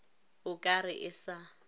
o ka re e sa